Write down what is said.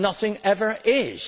nothing ever is.